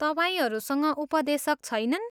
तपाईँहरूसँग उपदेशक छैनन्?